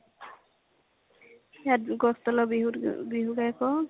ইয়াত গছ তলৰ বিহুত বিহু গাই ফুৰো